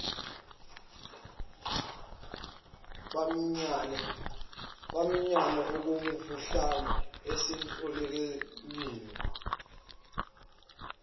baminyane okomuhlwa esidulini